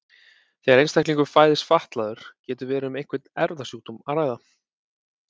Þegar einstaklingur fæðist fatlaður getur verið um einhvern erfðasjúkdóm að ræða.